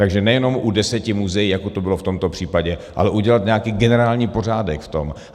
Takže nejenom u deseti muzeí, jako to bylo v tomto případě, ale udělat nějaký generální pořádek v tom.